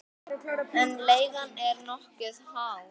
En leigan er nokkuð há.